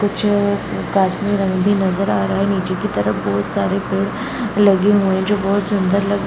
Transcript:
कुछ और कासमी रंग भी नज़र आ रहा है नीचे की तरफ बहोत सारे पेड़ लगे हुए हैं जो बहोत सुन्दर लग --